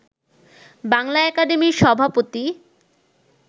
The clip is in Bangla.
বাংলা একাডেমির সভাপতি